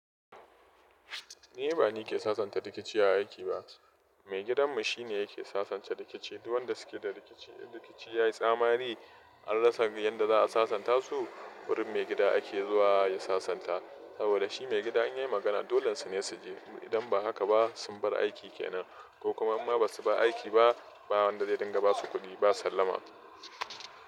Ni ba ni ke sasanta rikici a aiki ba, mai gidan mu shine yake sasanta rikici. Duk wanda suke da rikici yayi tsammari an rasa yanda za a sasanta su, wurin mai gida ake zuwa ya sasanta. Saboda shi mai gida in yayi magana, dolan sune suji. Idan ba haka ba sun bar aiki kenan ko kuma imma basu ba aiki ba, ba wanda zia dinga basu kuɗi ba sallama.